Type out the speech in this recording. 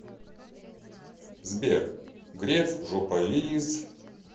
сбер греф жополиз